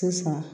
Sisan